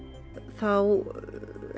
þá